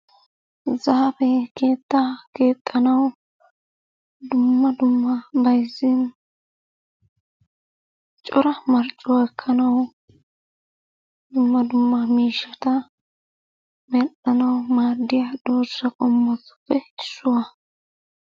Zaafe keettaa keexxanaw dumma dumma bayzzin cora marccuwa ekkanawu dumma dumma miishshata mell''anawu maadiya dooza qommotuppe issuwaa.